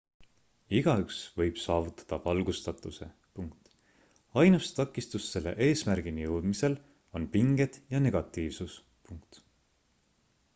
igaüks võib saavutada valgustatuse ainus takistus selle eesmärgini jõudmisel on pinged ja negatiivsus